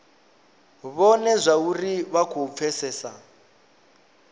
vhone zwauri vha khou pfesesa